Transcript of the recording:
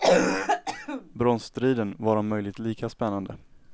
Bronsstriden var om möjligt lika spännande.